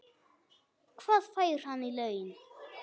Hvað fær hann í laun?